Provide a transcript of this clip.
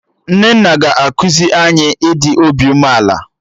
Nnenna ga-ekuzi anyị ịdị obi umeala